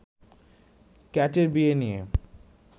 ক্যাটের বিয়ে নিয়ে